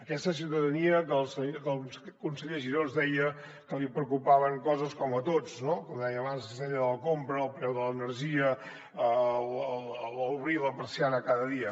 aquesta ciutadania que el conseller giró ens deia que li preocupaven coses com a tots no com deia abans la cistella de la compra el preu de l’energia obrir la persiana cada dia